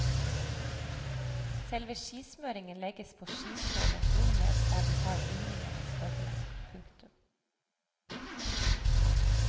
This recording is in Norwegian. Selve skismøringen legges på skisålen under under der du har bindingen og støvelen. punktum